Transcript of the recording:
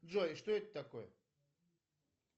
джой что это такое